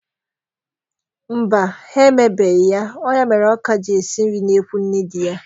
Mba, ha emebeghi ya. Ọ ya mere ọ ka ji esi nri n'ekwu nne dị ya.